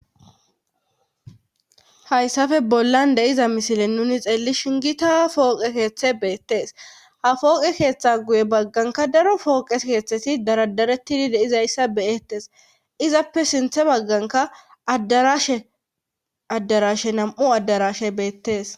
hayssafe bollan deiza misile nuni xeelli shingita fooqe keeththe beettees ha fooqe keeththe guye bagganka daro fooqe keeththesi daradaretidi deizayssa beyettes izappe sinthe bagganka addarashe addarashe nam7u addarashe beettees